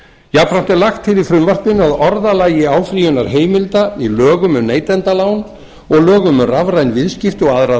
jafnframt er lagt til í frumvarpinu að orðalagi áfrýjunarheimilda í lögum um neytendalán og lögum um rafræn viðskipti og aðra